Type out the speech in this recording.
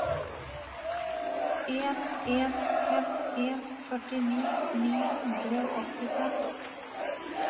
en en fem en førtini ni hundre og åttifem